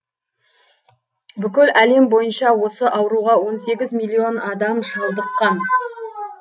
бүкіл әлем бойынша осы ауруға он сегіз миллион адам шалдыққан